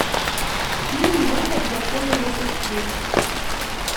фильм выход дракона запусти